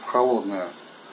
холодная